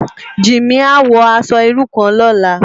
Jimi á wò aṣò irú kán lòlá